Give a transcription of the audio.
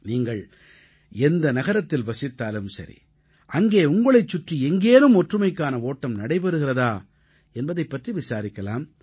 நீங்கள் எந்த நகரத்தில் வசித்தாலும் சரி அங்கே உங்களைச் சுற்றி எங்கேனும் ஒற்றுமைக்கான ஓட்டம் நடைபெறுகிறதா என்பதைப் பற்றி விசாரிக்கலாம்